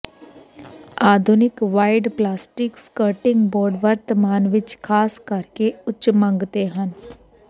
ਆਧੁਨਿਕ wide plastic skirting board ਵਰਤਮਾਨ ਵਿੱਚ ਖਾਸ ਕਰਕੇ ਉੱਚ ਮੰਗ ਤੇ ਹਨ